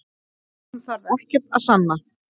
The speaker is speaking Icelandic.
Hann þarf ekkert að sanna